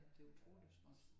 Det utrolig småt